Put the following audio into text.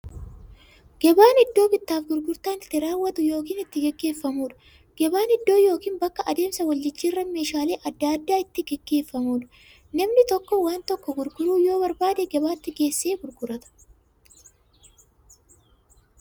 Gabaan iddoo bittaaf gurgurtaan itti raawwatu yookiin itti gaggeeffamuudha. Gabaan iddoo yookiin bakka adeemsa waljijjiiraan meeshaalee adda addaa itti gaggeeffamuudha. Namni tokko waan tokko gurguruu yoo barbaade, gabaatti geessee gurgurata.